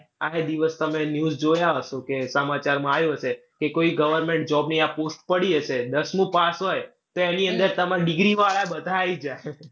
આ એ દિવસ તમે news જોયા હશો કે સમાચારમાં આયુ હશે કે કોઈ government job ની આ post પડી હશે. દસમું પાસ હોય તો એની અંદર તમાર degree વાળા બધા આઈ જ્યા